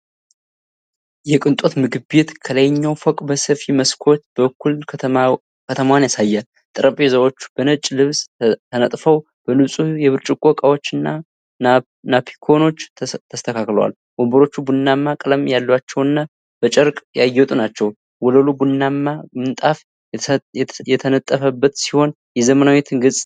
የቅንጦት ምግብ ቤት ከላይኛው ፎቅ በሰፊ መስኮት በኩል ከተማዋን ያሳያል። ጠረጴዛዎች በነጭ ልብስ ተነጥፈው በንጹህ የብርጭቆ እቃዎችና ናፕኪኖች ተስተካክለዋል። ወንበሮቹ ቡናማ ቀለም ያላቸውና በጨርቅ ያጌጡ ናቸው። ወለሉ ቡናማ ምንጣፍ የተነጠፈበት ሲሆን የዘመናዊነት ገፅታ አለው።